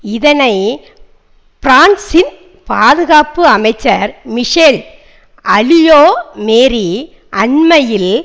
இதனை பிரான்சின் பாதுகாப்பு அமைச்சர் மிசேல் அலியோ மேரி அண்மையில்